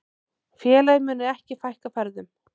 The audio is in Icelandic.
Félagið muni ekki fækka ferðum.